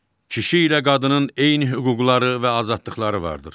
Kişi ilə qadının eyni hüquqları və azadlıqları vardır.